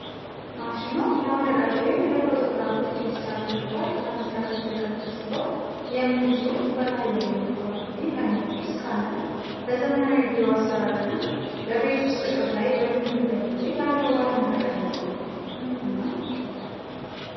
ማሽኑ ለወረቀት ወይም ለፎቶግራፎች ዲጂታል ግልባጭ ለመስራት የተዘጋጀ ሲሆን፣ 'HP Scanjet' የሚል ጽሑፍ በላዩ ላይ ይነበባል። ይህ ዓይነቱ ስካነር (Scanner) በዘመናዊ የቢሮ አሠራር እና በቤት ውስጥ ጥቅም ላይ በሚውልበት ጊዜ ያለው ዋና ጠቀሜታ ምንድነው?